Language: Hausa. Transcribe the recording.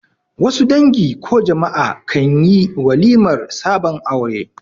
Wasu dangi ko jama'a kanli walimar sabon aure